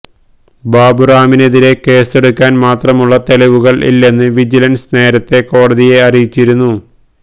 ബാബുറാമിനെതിരെ കേസെടുക്കാന് മാത്രമുള്ള തെളിവുകള് ഇല്ലെന്ന് വിജിലന്സ് നേരത്തെ കോടതിയെ അറിയിച്ചിരുന്നു